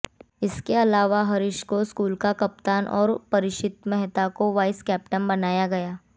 इसके अलावा हरीश को स्कूल का कप्तान तो परीक्षित मेहता को वाइस कैप्टन बनाया गया